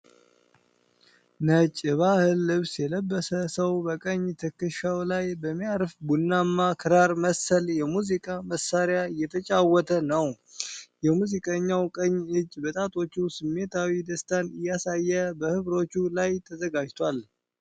ነጭ የባህል ልብስ የለበሰ ሰው በቀኝ ትከሻው ላይ በሚያርፍ ቡናማ ክራር መሰል የሙዚቃ መሳሪያ እየተጫወተ ነው። የሙዚቀኛው ቀኝ እጅ በጣቶቹ ስሜታዊ ደስታን እያሳየ በሕብሮቹ ላይ ተዘጋጅቷል።